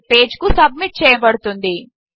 అనే పేజ్ కు సబ్మిట్ చేయబడుతుంది